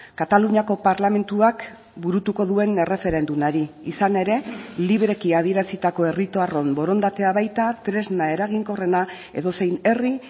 kataluniako parlamentuak burutuko duen erreferendumari izan ere libreki adierazitako herritarron borondatea baita tresna eraginkorrena edozein herri